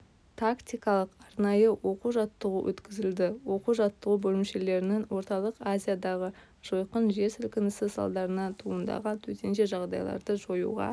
тактикалық-арнайы оқу-жаттығу өткізілді оқу-жаттығу бөлімшелерінің орталық азиядағы жойқын жер сілкінісі салдарынан туындаған төтенше жағдайларды жоюға